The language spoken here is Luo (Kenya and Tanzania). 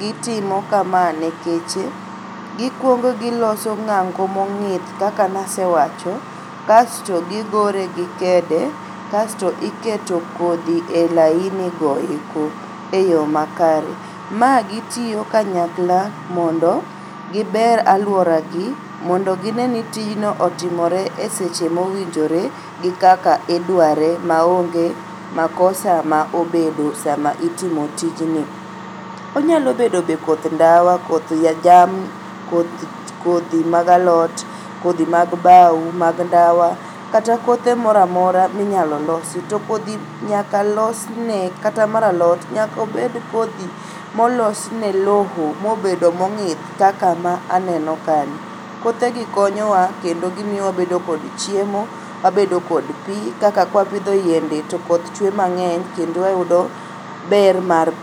gitimo kama nekech gikuongo giloso ng'ango mong'ith kaka nasewacho kasto gigore gi kede kasto iketo kodhi e laini go eko e yoo makare. Ma gitio kanyakla mondo giber aluoragi mondo gineni tijno otimore e seche mowinjore gi kaka idware maonge makosa ma obedo sama itimo tijni. Onyalobedo be koth ndawa koth jamni, kodhi mag alot, kodhi mag bao, kodhi mag ndawa kata kothe moramora minyalolosi to kodhi nyaka losne kata mar alot nyaka obed kodhi molosne loo mobedo mong'ith kaka ma aneno kani. Kothegi konyowa kendo gimiyo wabedo kod chiemo, wabedo kod pii kaka kwapidho yiende to koth chue mang'eny to kendo wayudo ber mar pii.